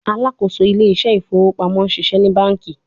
Alakoso Ile ise ifowo pamo ṣiṣẹ ni banki